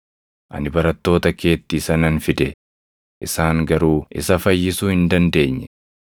Ani barattoota keetti isa nan fide; isaan garuu isa fayyisuu hin dandeenye.”